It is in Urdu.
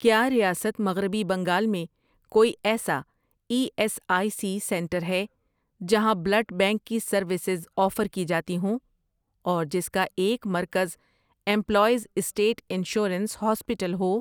کیا ریاست مغربی بنگال میں کوئی ایسا E S I C centre ہے جہاں بلڈ بینک کی سروسز آفر کی جاتی ہوں اور جس کا ایک مرکز امپلائیز اسٹیٹ انشورنس ہاسپیٹل ہو؟